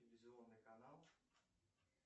телевизионный канал